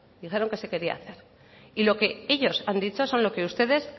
dijeron que se quería hacer y lo que ellos han dicho son lo que ustedes